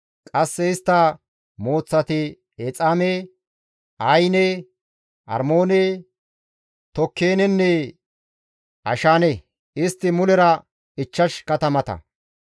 Qasse istta mooththati Exaame, Ayine, Armoone, Tokeenenne Ashaane; istti mulera ichchash katamata.